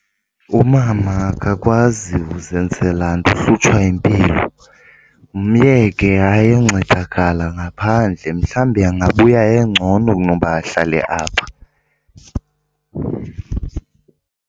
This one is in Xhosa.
Umama akakwazi uzenzela nto uhlutshwa impilo. Myeke ayoncedakala ngaphandle mhlawumbi angabuya engcono kunoba ahlale apha.